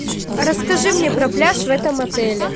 расскажи мне про пляж в этом отеле